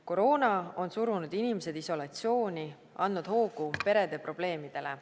Koroona on surunud inimesed isolatsiooni, andnud hoogu perede probleemidele.